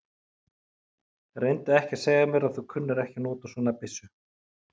Reyndu ekki að segja mér að þú kunnir ekki að nota svona byssu.